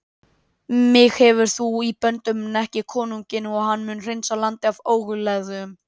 Mig hefur þú í böndum en ekki konunginn og hann mun hreinsa landið af óguðlegum.